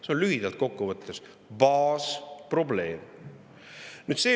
See on lühidalt kokkuvõttes see baasprobleem.